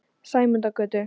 Sæmundargötu